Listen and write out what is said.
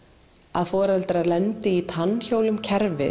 að foreldrar lendi í tannhjólum kerfis